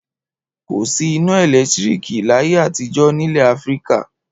Kò sí iná ẹ̀lẹ́tíríkì láyé àtijọ́ nílẹ̀ Áfíríkà.